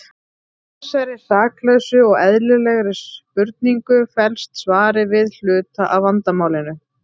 Í þessari saklausu og eðlilegri spurningu felst svarið við hluta af vandamálinu.